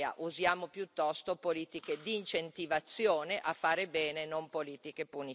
Usiamo piuttosto politiche di incentivazione a fare bene, non politiche punitive.